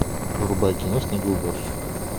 врубай кино снегоуборщик